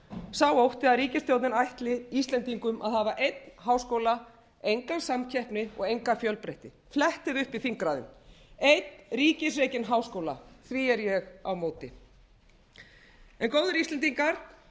sá ótti að ríkisstjórnin ætli íslendingum að hafa einn háskóla enga samkeppni og enga fjölbreytni flettið upp í þingræðum einn ríkisrekinn háskóla því er ég á móti góðir íslendingar